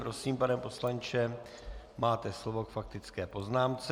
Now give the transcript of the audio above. Prosím, pane poslanče, máte slovo k faktické poznámce.